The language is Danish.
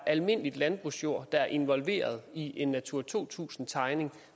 almindelig landbrugsjord er involveret i en natura to tusind tegning